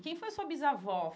Quem foi a sua bisavó?